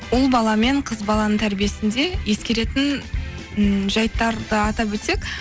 ұл бала мен қыз баланың тәрбиесінде ескеретін ммм жәйттарды атап өтсек